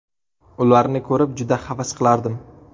Ularni ko‘rib juda havas qilardim.